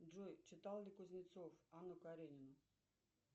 джой читал ли кузнецов анну каренину